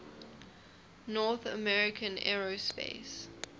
north american aerospace